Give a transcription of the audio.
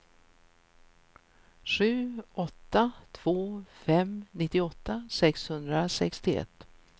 sju åtta två fem nittioåtta sexhundrasextioett